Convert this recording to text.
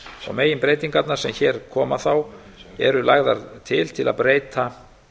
meginbreytingarnar sem hér koma eru lagðar til til að breyta